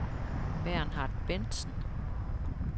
Bernhard Bendsen